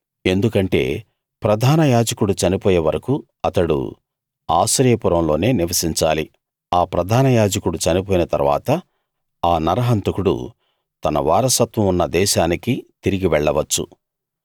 ఎందుకంటే ప్రధాన యాజకుడు చనిపోయే వరకూ అతడు ఆశ్రయపురంలోనే నివసించాలి ఆ ప్రధాన యాజకుడు చనిపోయిన తరువాత ఆ నరహంతకుడు తన వారసత్వం ఉన్న దేశానికి తిరిగి వెళ్లవచ్చు